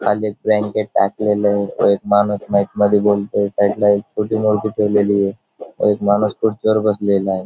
खाली एक ब्लँकेट टाकलेलय व एक माणूस माईक मध्ये बोलतोय साईडला एक छोटी मूर्ती ठेवलेलीये व एक माणूस खुर्चीवर बसलेलाय.